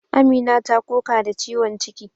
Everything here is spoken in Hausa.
Amina ta koka da ciwon ciki.